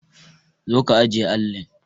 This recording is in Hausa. Zo ka ajiye allin!